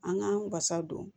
An k'an wasa don